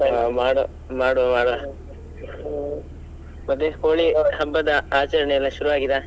ಹಾ ಮಾಡ್~ ಮಾಡ್ವ ಮಾರ್ರೆ ಮತ್ತೆ ಕೋಳಿ ಹಬ್ಬದ ಆಚರಣೆ ಎಲ್ಲ ಶುರು ಆಗಿದ?